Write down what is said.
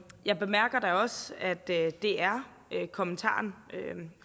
jeg bemærker da også at det er det er kommentaren